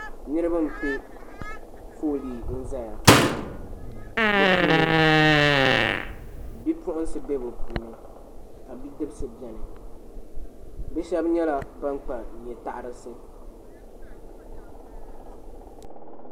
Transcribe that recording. Niriba n piɛ foolii n zaya bi puuni bipuɣiŋsi bɛ bi puuni ka bidibsi bɛni bi shɛba nyɛla ban kpa nyɛ pɔbirisi.